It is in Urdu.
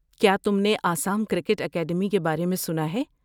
کیا تم نے آسام کرکٹ اکیڈمی کے بارے میں سنا ہے؟